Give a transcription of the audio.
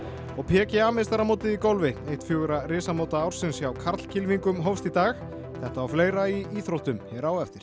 og PGA meistaramótið í golfi eitt fjögurra ársins hjá hófst í dag þetta og fleira í íþróttum hér á eftir